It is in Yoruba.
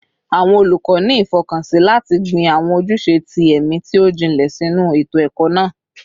Awọn olukọ ni ifọkansi lati gbin awọn ojuse ti ẹmi ti o jinlẹ sinu eto-ẹkọ naa